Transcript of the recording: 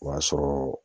O y'a sɔrɔ